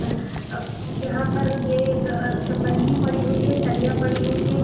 और यहाँ पर ये बल्ली पड़ी हुई है सरिया पड़ी हुई है ।